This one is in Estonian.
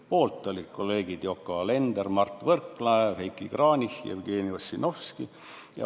Poolt olid kolleegid Yoko Alender, Mart Võrklaev, Heiki Kranich, Jevgeni Ossinovski.